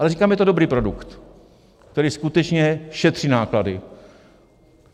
Ale říkám, že je to dobrý produkt, který skutečně šetří náklady.